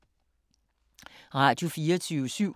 Radio24syv